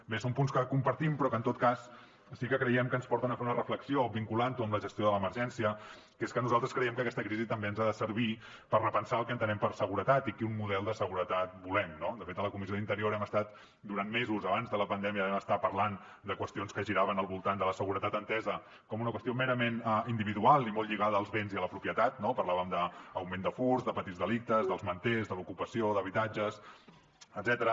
bé són punts que compartim però que en tot cas sí que creiem que ens porten a fer una reflexió vinculant ho amb la gestió de l’emergència que és que nosaltres creiem que aquesta crisi també ens ha de servir per repensar el que entenem per seguretat i quin model de seguretat volem no de fet a la comissió d’interior hem estat durant mesos abans de la pandèmia vam estar parlant de qüestions que giraven al voltant de la seguretat entesa com una qüestió merament individual i molt lligada als béns i a la propietat no parlàvem d’augment de furts de petits delictes dels manters de l’ocupació d’habitatges etcètera